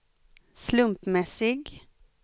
slumpmässig